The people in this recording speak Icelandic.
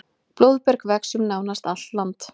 blóðberg vex um nánast allt land